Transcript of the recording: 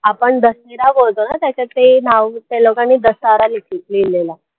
आपण दशेरा बोलतो ना त्याच्यात ते नाव त्या लोकांनी दशहरा लिहलेला